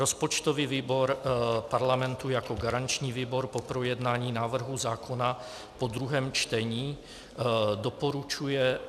Rozpočtový výbor Parlamentu jako garanční výbor po projednání návrhu zákona po druhém čtení doporučuje